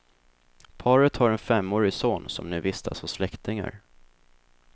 Paret har en femårig son som nu vistas hos släktingar.